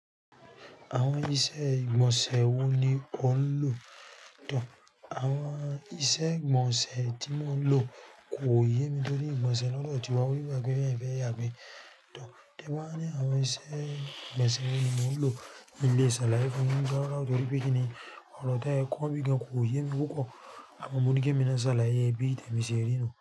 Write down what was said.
Àwọn iṣẹ́ ìgbọ̀nsẹ̀ wo ni o ń lò? Àwọn iṣẹ́ ìgbọ̀nsẹ̀ tí mò ń lò kò yé mi torí ìgbọ̀nsẹ̀ lọ́dọ̀ tiwa wí pé ẹ fẹ́ yàgbẹ́. Tẹ́gbọ́́n ni àwọn iṣẹ́ ìgbọ̀nsẹ̀ wọ̀ ní mò ń lò ní ilé ìṣẹ̀lẹ̀ ayé kan ní Gáràwà torí pé kíni ọ̀rọ̀ táyọ kọ́ n bí gan kò yé mi kókò. Àmọ́ mo ní kí èmi máa ṣàlàyé bí èmi ṣe rí inú.